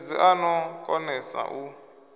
mudededzi a no konesa u